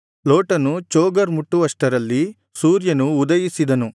ಲೋಟನು ಚೋಗರ್ ಮುಟ್ಟುವಷ್ಟರಲ್ಲಿ ಸೂರ್ಯನು ಉದಯಿಸಿದನು